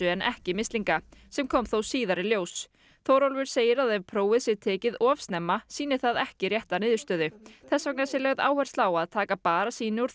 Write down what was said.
en ekki mislinga sem kom þó síðar í ljós Þórólfur segir að ef prófið sé tekið of snemma sýni það ekki rétta niðurstöðu þess vegna sé lögð áhersla á að taka bara sýni úr